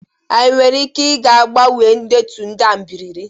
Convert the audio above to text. Anyị nwere ike ịga gbanwee ndetu ndị a ebibiri?